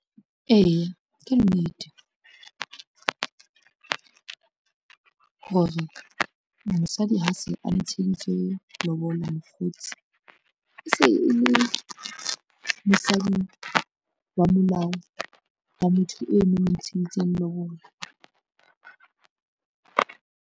Eya ke nnete, hore mosadi ha se a ntsheditswe lobola mokgotsi e se e le mosadi wa molao wa motho eno a mo ntsheditseng lobola.